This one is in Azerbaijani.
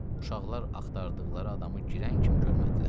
Uşaqlar axtardıqları adamı girən kimi görmədilər.